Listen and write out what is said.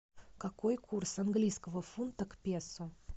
какой курс английского фунта к песо